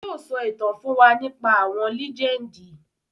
Yii o sọ ìtàn fún wa nípa àwọn lẹ́jẹ́ndì